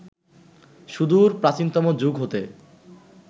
সুদূর প্রাচীনতম যুগ হতে